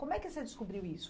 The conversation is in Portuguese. Como é que você descobriu isso?